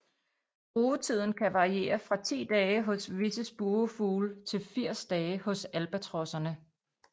Rugetiden kan variere fra ti dage hos visse spurvefugle til 80 dage hos albatrosserne